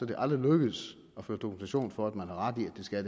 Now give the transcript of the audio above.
det aldrig lykkedes at føre dokumentation for at man har ret i at det skal